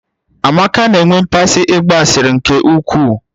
Amaka na-enwe mmasị ịgba asịrị nke ukwuu